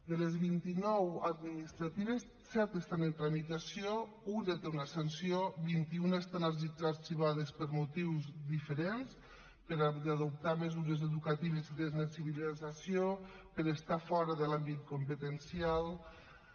de les vint nou administratives set estan en tramitació un té una sanció vint un estan arxivades per motius diferents per adoptar mesures educatives i de sensibilització per estar fora de l’àmbit competencial